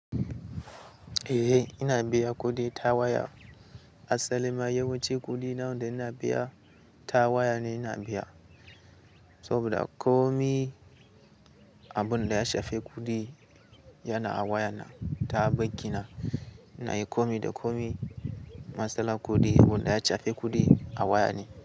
Eh ina biya kuɗi ta waya. Asalima yawanci kuɗi na wa da ina biya ta waya ne ina biya. Saboda komi abun da ya shafi kuɗi yana a waya na, ta banki na. Ina yi komi da komi. Matsalar kuɗi abun da ya shafi kuɗi a waya ne.